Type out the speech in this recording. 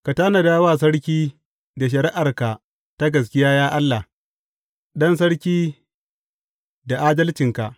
Ka tanada sarki da shari’arka ta gaskiya, ya Allah, ɗan sarki da adalcinka.